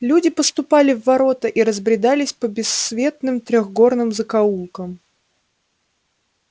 люди поступали в ворота и разбредались по бессветным трёхгорным закоулкам